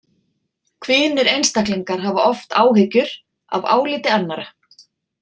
Kvíðnir einstaklingar hafa oft áhyggjur af áliti annarra.